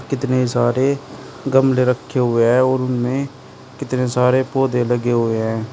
कितने सारे गमले रखे हुए हैं और उनमें कितने सारे पौधे लगे हुए हैं।